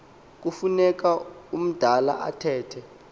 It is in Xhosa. kufuneka umdala athethe